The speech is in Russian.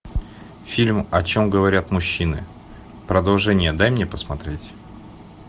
фильм о чем говорят мужчины продолжение дай мне посмотреть